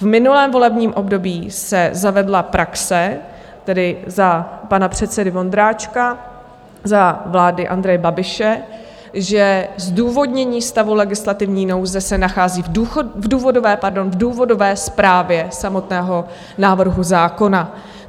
V minulém volebním období se zavedla praxe, tedy za pana předsedy Vondráčka, za vlády Andreje Babiše, že zdůvodnění stavu legislativní nouze se nachází v důvodové zprávě samotného návrhu zákona.